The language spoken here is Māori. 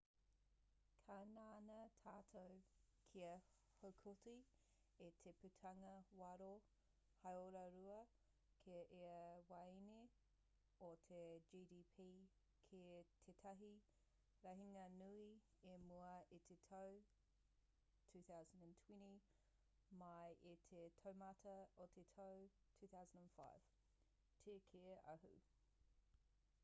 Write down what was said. ka ngana tātou kia haukoti i te putanga waro hāora-rua ki ia waeine o te gdp ki tētahi rahinga nui i mua i te tau 2020 mai i te taumata o te tau 2005 te kī a hu